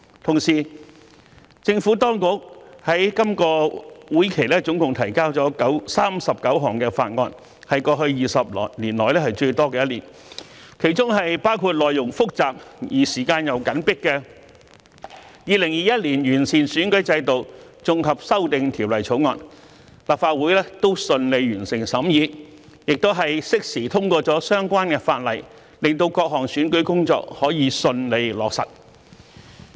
同時，政府當局在今個會期總共提交了39項法案，是過去20年以來最多的一年，當中包括內容複雜而時間緊迫的《2021年完善選舉制度條例草案》，立法會都順利完成審議，亦適時通過了相關法例，令各項選舉工作可以順利落實。